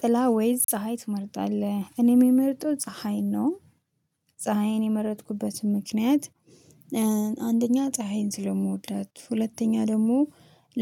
ጥላ ወይስ ፀሀይ ትመርጣለህ? እኔ የምመርጠው ፀሀይ ነው። ፀሀይን የመረጥኩበትም ምክንያት። አንደኛ ፀሀይን ስለምወዳት ሁለተኛ ደግሞ